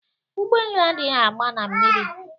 Ụgbọ elu adịghị agba na mmiri.